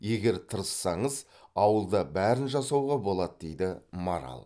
егер тырыссаңыз ауылда бәрін жасауға болады дейді марал